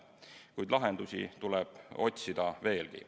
Kuid lahendusi tuleb otsida veelgi.